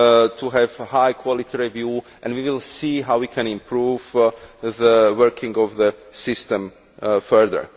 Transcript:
to have a high quality review and we will see how we can improve the working of the system further.